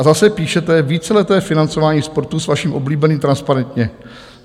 A zase píšete: Víceleté financování sportu s vaším oblíbeným "transparentně".